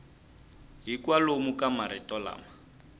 hi kwalomu ka marito lama